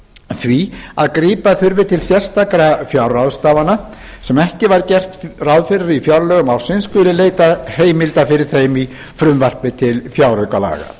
því að grípa þurfi til sérstakra fjárráðstafana sem ekki var gert ráð fyrir í fjárlögum ársins skuli leitað heimilda fyrir þeim í frumvarpi til fjáraukalaga